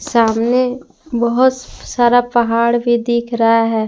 सामने बहुत सारा पहाड़ भी दिख रहा है।